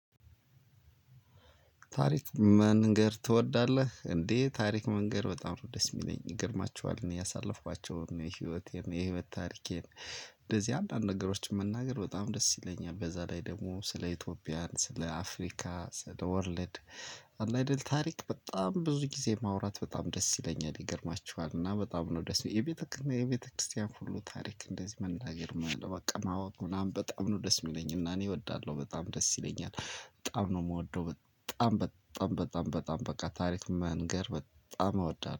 ታሪክ መንገር ትወዳለህ እንዴ ታሪክ መንገር በጣም ነው ደስ የሚለኝ ይገርማችኋል እኔ ያሳለፍኳቸውን የህይወቴን የህይወት ታሪኬን እንደዚህ አንዳንድ ነገሮችን መናገር በጣም ደስ ይለኛል። በዛ ላይ ደግሞ ስለ ኢትዮጵያን፣ ስለ አፍሪካ፣ ስለ ወርልድ፣ አለ አይደል ታሪክ በጣም ብዙ ጊዜ ማውራት በጣም ደስ ይለኛል ይገርማችኋል እና በጣም ነው ደስ የቤተክ የቤተክርስቲያን ሁሉ ታሪክ እንደዚህ መናገር በቃ ማወቅ ምናምን በጣም ነው ደስ የሚለኝ እና እኔ ወዳለሁ በጣም ደስ ይለኛል። በጣም ነው የምወደው በጣም በጣም በጣም በጣም በቃ ታሪክ መንገር በጣም እወዳል